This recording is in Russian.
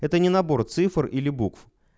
это не набор цифр или букв